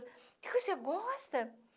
O que que você gosta?